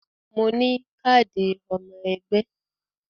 Mo ní káàdì ọmọ ẹgbẹ́